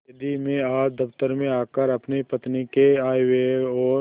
यदि मैं आज दफ्तर में आकर अपनी पत्नी के आयव्यय और